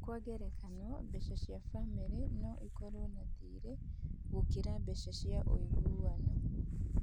Kwa ngerekano, biacara ya famĩlĩ no ĩkorũo na thirĩ gũkĩra mbeca cia ũiguano.